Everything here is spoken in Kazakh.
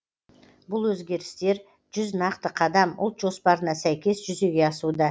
бұл өзгерістер жүз нақты қадам ұлт жоспарына сәйкес жүзеге асуда